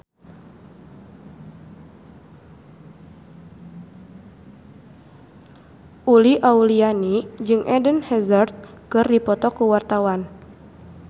Uli Auliani jeung Eden Hazard keur dipoto ku wartawan